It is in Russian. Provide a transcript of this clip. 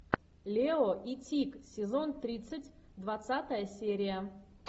лео и тиг сезон тридцать двадцатая серия